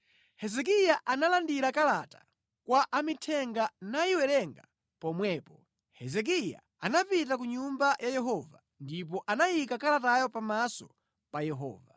Hezekiya analandira kalata kwa amithenga nayiwerenga pomwepo. Hezekiya anapita ku Nyumba ya Yehova ndipo anayika kalatayo pamaso pa Yehova.